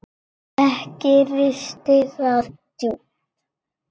Ekki risti það djúpt.